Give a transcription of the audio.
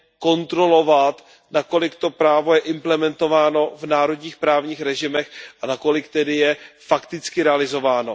kontrolovat, na kolik to právo je implementováno v národních právních režimech a na kolik tedy je fakticky realizováno.